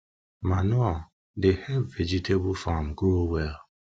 manure dey help vegetable farm grow well